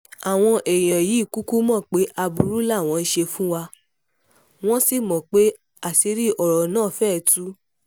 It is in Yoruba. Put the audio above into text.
àwọn èèyàn yìí kúkú mọ̀ pé aburú làwọn ṣe fún wa wọ́n sì mọ̀ pé àṣírí ọ̀rọ̀ náà fẹ́ẹ́ tú